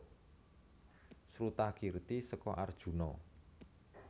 Srutakirti seka Arjuna